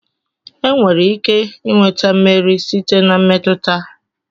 enwere ike nweta mmeri site na mmetụta